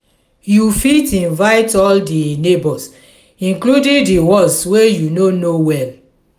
you fit invite all di neighbors including di ones wey you no know well.